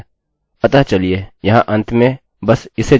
हम इसे नहीं पढ़ सकते हैं